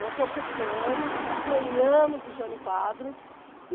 Nós ocupamos, apanhamos do Jânio Quadros.